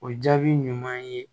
O jaabi ɲuman ye